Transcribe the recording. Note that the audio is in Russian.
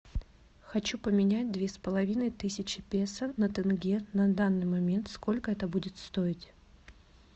хочу поменять две с половиной тысячи песо на тенге на данный момент сколько это будет стоить